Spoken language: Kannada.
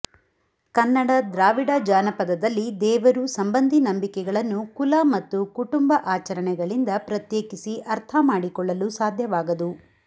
ಕನ್ನಡ ದ್ರಾವಿಡ ಜಾನಪದದಲ್ಲಿ ದೇವರು ಸಂಬಂಧಿ ನಂಬಿಕೆಗಳನ್ನು ಕುಲ ಮತ್ತು ಕುಟುಂಬ ಆಚರಣೆಗಳಿಂದ ಪ್ರತ್ಯೇಕಿಸಿ ಅರ್ಥ ಮಾಡಿಕೊಳ್ಳಲು ಸಾಧ್ಯವಾಗದು